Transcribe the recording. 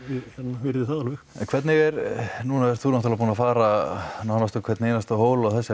virði það alveg en hvernig er núna er þú náttúrulega búinn að fara nánast á hvern einasta hól á þessari